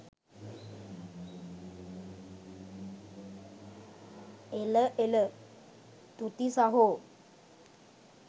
එල එල තුති සහෝ